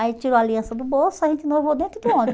Aí tirou a aliança do bolso, a gente noivou dentro do